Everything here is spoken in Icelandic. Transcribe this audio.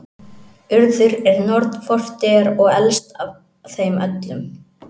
Urður er norn fortíðar og elst af þeim öllum.